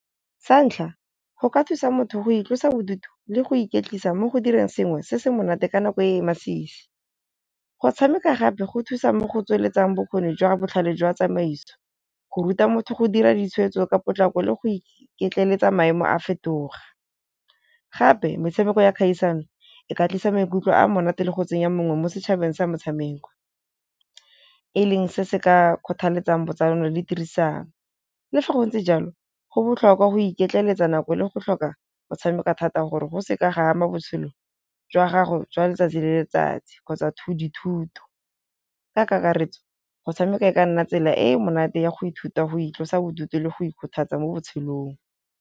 Sa ntlha, go ka thusa motho go itlosa bodutu le go iketlisa mo go direng sengwe se se monate ka nako e e masisi. Go tshameka gape go thusa mo go tsweletsang bokgoni jwa botlhale jwa tsamaiso, go ruta motho go dira ditshwetso ka potlako le go iketleletsa maemo a fetoga, gape metshameko ya kgaisano e ka tlisa maikutlo a monate le go tsenya mongwe mo setšhabeng sa motshameko, e leng se se ka kgothaletsang botsalano le tirisano. Le fa go ntse jalo go botlhokwa go iketleletsa nako le go tlhoka go tshameka thata gore go se ka ga ama botshelo jwa gago jwa letsatsi le letsatsi kgotsa dithuto, ka kakaretso go tshameka e ka nna tsela e e monate ya go ithuta go itlosa bodutu le go ikgothatsa mo botshelong.